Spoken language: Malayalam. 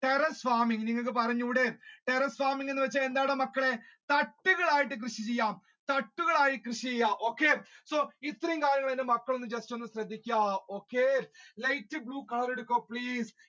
terrace farming നിങ്ങൾക്ക് പറഞ്ഞൂടെ terrace farming എന്ന് വെച്ച എന്താണ് മക്കളെ തട്ടുകളായിട്ട് കൃഷി ചെയ്യുക തട്ടുകളായിട്ട് കൃഷി ചെയ്യുക okay so ഇത്രയും കാര്യങ്ങൾ എന്റെ മക്കൾ just ഒന്ന് ശ്രദ്ധിച്ചാൽ